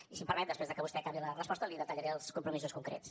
i si m’ho permet després de que vostè acabi la resposta li detallaré els compromisos concrets